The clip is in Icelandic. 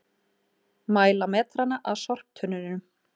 Mæla metrana að sorptunnunum